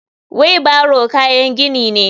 Wheeo barrow kayan gini ne.